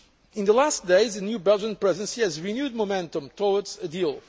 In the last few days, a new Belgian Presidency has renewed momentum towards a